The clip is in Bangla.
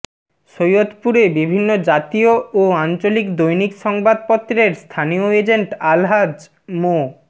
সৈয়দপুরে বিভিন্ন জাতীয় ও আঞ্চলিক দৈনিক সংবাদপত্রের স্থানীয় এজেন্ট আলহাজ মো